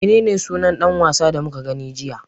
Menene sunan ɗan wasan da muka gani jiya?